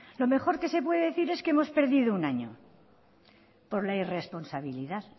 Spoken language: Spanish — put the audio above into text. lo mejor que se puede decir es que hemos perdido un año por la irresponsabilidad